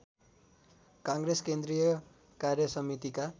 काङ्ग्रेस केन्द्रीय कार्यसमितिका